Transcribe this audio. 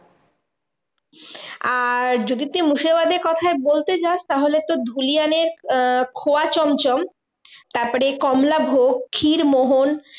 আর যদি তুই মুর্শিদাবাদের কথাই বলতে যাস তাহলে তো ধুলিয়ানের আহ খোয়া চমচম তারপরে কমলাভোগ ক্ষীরমোহন